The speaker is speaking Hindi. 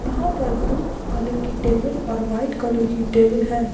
यहाँ पर ब्लू कलर की टेबल और व्हाइट कलर की टेबल है।